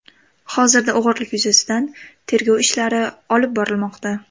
Hozirda o‘g‘irlik yuzasidan tergov ishlari olib borilmoqda.